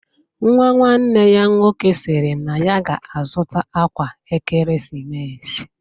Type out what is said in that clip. Nwa nwanne ya nwoke sịrị na ya ga-azụta akwa ekeresimesi